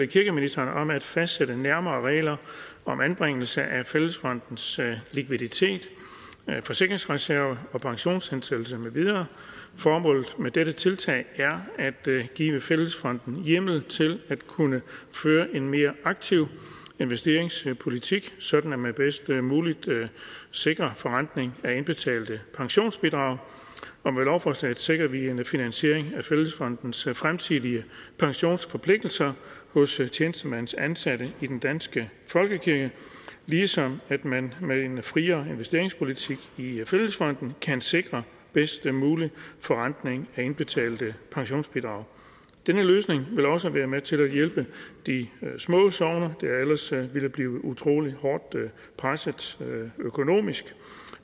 kirkeministeren om at fastsætte nærmere regler om anbringelse af fællesfondens likviditet forsikringsreserve og pensionshensættelse med videre formålet med dette tiltag er at give fællesfonden hjemmel til at kunne føre en mere aktiv investeringspolitik sådan at man bedst muligt sikrer forrentning af indbetalte pensionsbidrag med lovforslaget sikrer vi en finansiering af fællesfondens fremtidige pensionsforpligtelser hos tjenestemandsansatte i den danske folkekirke ligesom man med en friere investeringspolitik i fællesfonden kan sikre bedst mulig forrentning af indbetalte pensionsbidrag denne løsning vil også være med til at hjælpe de små sogne der ellers ville blive utrolig hårdt presset økonomisk